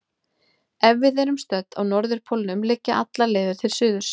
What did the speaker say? Ef við erum stödd á norðurpólnum liggja allar leiðir til suðurs.